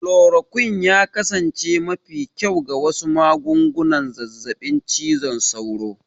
Chloroquine ya kasance mafi kyau ga wasu magungunan zazzabin cizon sauro.